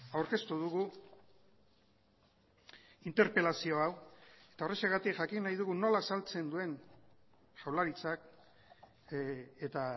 aurkeztu dugu interpelazio hau eta horrexegatik jakin nahi dugu nola azaltzen duen jaurlaritzak eta